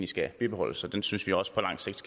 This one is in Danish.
skal bibeholdes og den synes vi også på lang sigt